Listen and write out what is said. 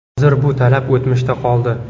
Hozir bu talab o‘tmishda qoldi”.